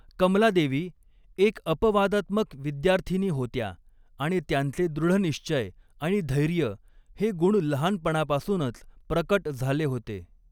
कमलादेवी एक अपवादात्मक विद्यार्थिनी होत्या आणि त्यांचे दृढनिश्चय आणि धैर्य हे गुण लहानपणापासूनच प्रकट झाले होते.